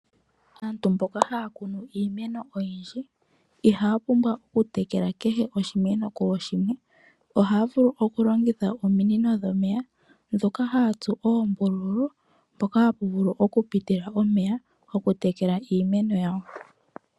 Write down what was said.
Aantu mboka haya kunu iimeno oyindji ihaya pumbwa okutekela kehe oshimeno kooshimwe. Ohaya vulu okulongitha ominino dhomeya ndhoka haya tsu oombululu mpoka hapu vulu okupitila omeya gokutekela iimeno yawo.